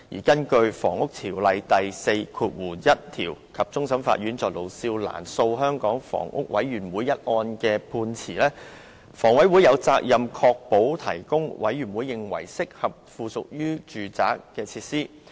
根據《房屋條例》第41條及終審法院就盧少蘭訴香港房屋委員會一案的判詞，房委會有責任"確保"為各類人士"提供"委員會認為適合附屬於房屋的設施。